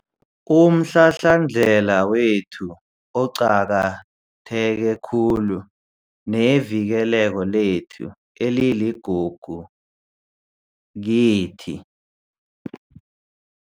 umhlahlandlela wethu oqakatheke khulu nevikeleko lethu eliligugu kithi.